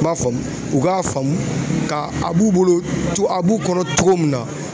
M'a faamu, u k'a faamu, k'a a b'u bolo a b'u kɔnɔ cogo min na